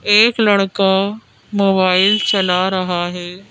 एक लड़का मोबाइल चला रहा है।